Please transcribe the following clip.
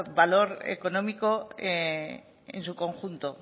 valor económico en su conjunto